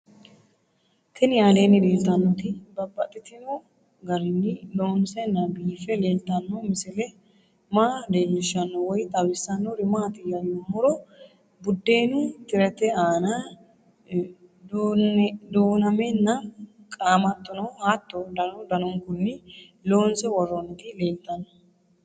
Tinni aleenni leelittannotti babaxxittinno garinni loonseenna biiffe leelittanno misile maa leelishshanno woy xawisannori maattiya yinummoro budeennu tirette aanna duunnammenna qaamattonno hatto danu danunkunni loonsse woroonnitti leelittanno::